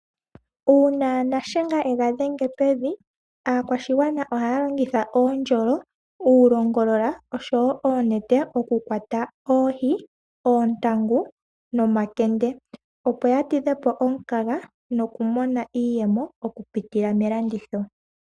Uuna nashenga e ga dhenge pevi, aakwashigwana ohaya longitha oondjolo, uulongolola oshowo oonete oku kwata oohi, oontangu nomakende. Opo ya tidhe po omukaga noku mona iiyemo oku pitila melanditho.